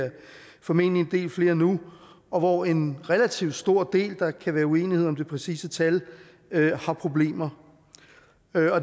formentlig en del flere nu og hvoraf en relativt stor del der kan være uenighed om det præcise tal har problemer